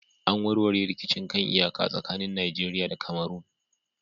An warware rikicin kan iyaka tsakanin Najeriya da Cameron